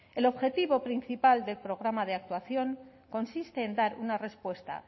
el objetivo principal del programa de actuación consiste en dar una respuesta